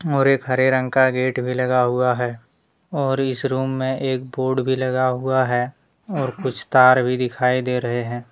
और एक हरे रंग का गेट भी लगा हुआ है और इस रूम में एक बोर्ड भी लगा हुआ है और कुछ तार भी दिखाई दे रहे हैं।